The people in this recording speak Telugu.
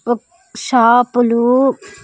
ఒక్-- షాపులు .